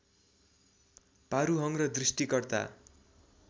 पारूहोङ र दृष्टिकर्ता